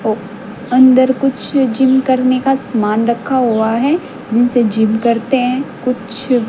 वो अंदर कुछ जिम करने का समान रखा हुआ है जिनसे जिम करते हैं कुछ--